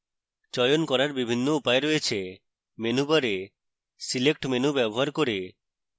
চয়ন করার বিভিন্ন উপায় রয়েছে: menu bar select menu bar করে